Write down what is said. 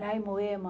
Lá em Moema.